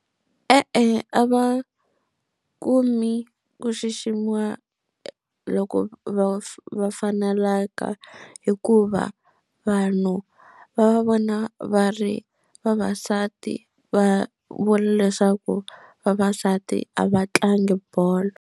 E-e, a va kumi ku xiximiwa loko va va faneleka hikuva vanhu va va vona va ri vavasati va vula leswaku vavasati a va tlangi bolo.